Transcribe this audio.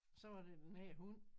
Så var der den her hund